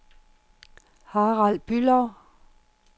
Harald Bülow